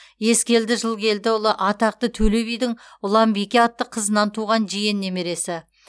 ескелді жылкелдіұлы атақты төле бидің ұланбике атты қызынан туған жиен немересі